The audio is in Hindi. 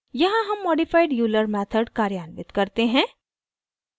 यहाँ हम modified euler method कार्यान्वित करते हैं